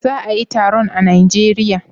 Za a yi taron a najeria?